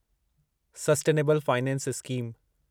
sustainable finance scheme